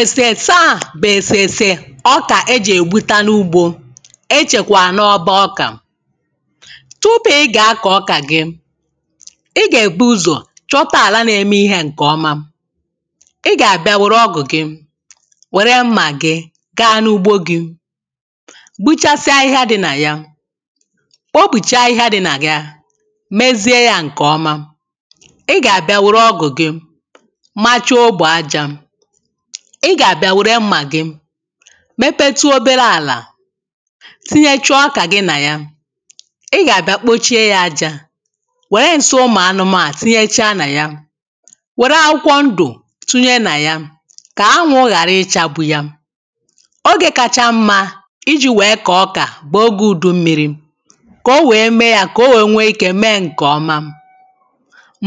èsèsè a bù èsèsè ọkà e jè gbụta n’ugbō ẹ chẹ̀kwà n’ọbọ ọkà tupù ị gà akọ̀ ọkà ị gà e bù ụzọ̀ chọta ala na-eme ihē ṅ̀ke ọma ị gà àbịa wèrè ọgụ̀ gị wèrè mmà gị gā n’ugbo gị gbụchasịa ahịhịa dị nà yā kpopùcha ahịhịa dī nà yā mẹzie yā ṅke ọma ị gà àbịa wèrè ọgụ̀ gị macha ogbo ajā ị gà àbịa wèrè mmà gị mẹpẹtụ obere àlà tinyecha ọkà gị nà yā ị gà àbịa kpochie yā ajā wère ǹsi ụmụ̀ anụmanụ̀ tinyecha nà yā wẹ̀rẹ akwụkwọ ndù tụnyẹ nà yā kà anwụ ghàra ịchagbụ yā oge kacha mmā ị jī wee kọọ ọkà bụ̀ ogē udu mmīri kà ọ wee mee yā kà ọ̀ wee nwẹ ikē mee ṅ̀ke ọma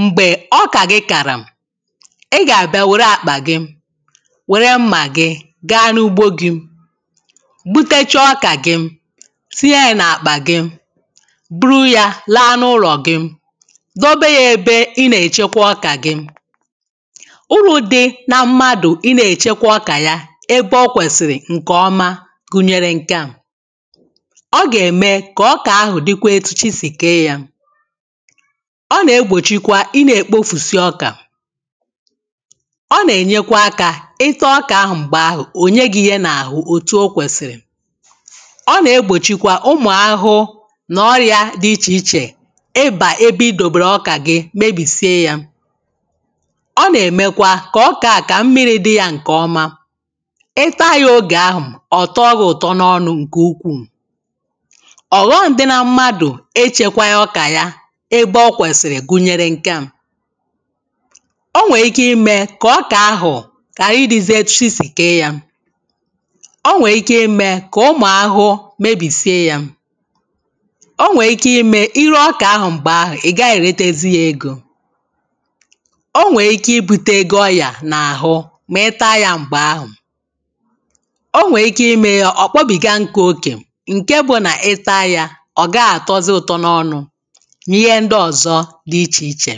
m̀gbè ọkà gị kàrà ị gà àbịa wère àkpà gị wẹ̀re mmà gị gaa n’ugbo gị̄ gbutecha ọkà gị tinye yā n’akpà gị buru yā laa n’ụlọ̀ gị dọbẹ yā ẹbẹ ị nà ẹchẹkwẹ ọkà gị ụrụ dị̄ nā mmàdù ị nā èchekwa ọkà ya ẹbẹ ọ kwẹ̀sị̀rị̀ ṅ̀kẹ ọma gùnyèrè ṅ̀kẹ a o gà ẹ̀mẹ kà ọkà ahụ̀ dị kwa e tu chị̄ sì kee yā ọ nà egbòchikwa ị nā ekpòfusi ọkà ọ nà ènyèkwa akā ị ta ọkà ahụ̀ m̀gbè ahụ̀ ò nye gị ihe n’àhụ òtù o kwèsìlì ọ nà egbòchikwa ụmụ̀ ahụhụ nà ọrịā dị̄ ichè ichè ị bà ebe ị dòbèrè ọkà gị mebìsie yā ọ nà èmekwa kà ọ̀kà a kà mmīri dị yā ṅ̀ke ọma ị taa yā ogè ahụ̀ ọ̀ tọọ gị ụ̀tọ n’ọnụ̄ ṅ̀ke ukwù ọ̀ghọm dị nā m̀madù echē kwā ọkà yā ebe ọ kwesi gùnyère ṅ̀kẹ à ọ nwẹ ike imē kà ọkà ahụ̀ ghàrị ịdịzị etu chị sì kee yā ọ nwè ike imẹ̄ kà ụmụ̀ ahụhụ mebisie yā ọ nwẹ ike ime ị ree ọkà ahụ̀ m̀gbè ahụ̀ ị gaghị èretezi yā egō ọ nwè ike i bute gị ọrịà n’àhụ mà ị taa yā m̀gbè ahụ̀ ọ nwẹ ike ime yā ọ̀ kpọbìga nkụ̄ okè ṅ̀kẹ bụ̀ nà ị taā yā ọ̀ gaghị̄ àtọzị ụtọ n’ọnụ̄ n’ihe ndị ọzọ dị ichè ichẹ̀